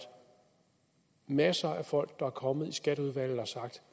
masser af folk der er kommet i skatteudvalget og har sagt